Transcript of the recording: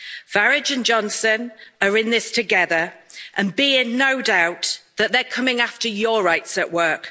Farage and Johnson are in this together and be in no doubt that they're coming after your rights at work.